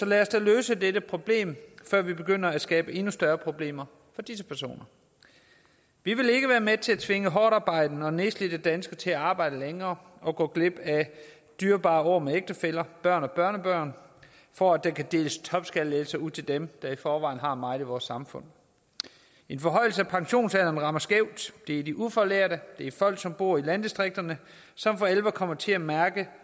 lad os da løse det problem før vi begynder at skabe endnu større problemer for disse personer vi vil ikke være med til at tvinge hårdtarbejdende og nedslidte danskere til at arbejde længere og gå glip af dyrebare år med ægtefæller børn og børnebørn for at der kan deles topskattelettelser ud til dem der i forvejen har meget i vores samfund en forhøjelse af pensionsalderen rammer skævt det er de ufaglærte det er folk som bor i landdistrikterne som for alvor kommer til at mærke